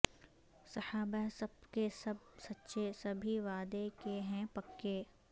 صحابہ سب کے سب سچے سبھی وعدے کے ہیں پکے